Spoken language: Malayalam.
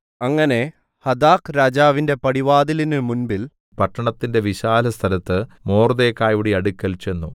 അങ്ങനെ ഹഥാക്ക് രാജാവിന്റെ പടിവാതിലിന് മുമ്പിൽ പട്ടണത്തിന്റെ വിശാലസ്ഥലത്ത് മൊർദെഖായിയുടെ അടുക്കൽ ചെന്നു